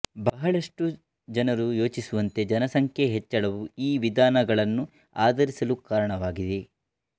ಬಹಳಷ್ಟು ಜನರು ಯೋಚಿಸುವಂತೆ ಜನಸಂಖ್ಯೆಯ ಹೆಚ್ಚಳವು ಈ ವಿಧಾನಗಳನ್ನು ಆಧಾರಿಸಲು ಕಾರಣವಾಗಿದೆ